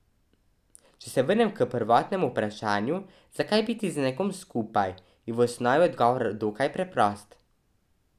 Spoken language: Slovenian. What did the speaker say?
Če se vrnem k prvotnemu vprašanju, zakaj biti z nekom skupaj, je v osnovi odgovor dokaj preprost.